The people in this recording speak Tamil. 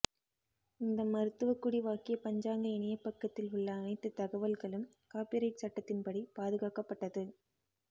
இந்த மருத்துவக்குடி வாக்கிய பஞ்சாங்க இணையபக்கத்தில் உள்ள அனைத்து தகவல்களும் காப்பிரைட் சட்டத்தின்படி பாதுகாக்கப்பட்டது